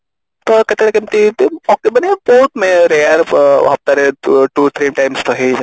ତ କେତେବେଳେ କେମିତି ମାନେ ବହୁତ rare two three times ତ ହେଇଯାଏ